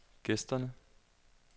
gæsterne